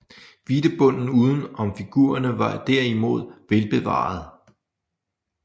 Hvidtebunden uden om figurerne var derimod velbevaret